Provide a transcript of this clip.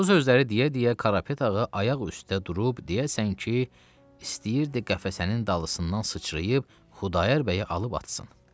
Bu sözləri deyə-deyə Karapet ağa ayaq üstə durub deyəsən ki, istəyirdi qəfəsinin dalısından sıçrayıb Xudayar bəyi alıb atsın.